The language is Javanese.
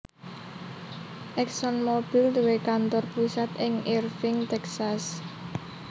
ExxonMobil duwé kantor pusat ing Irving Texas